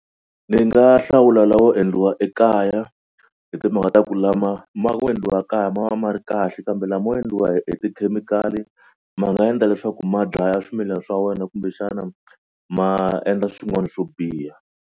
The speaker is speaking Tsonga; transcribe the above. Ni nga hlawula lawo endliwa ekaya hi timhaka ta ku lama ma ku endliwa kaya ma va ma ri kahle kambe lamo endliwa hi tikhemikhali ma nga endla leswaku ma dlaya swimilana swa wena kumbexana ma endla swin'wana swo biha.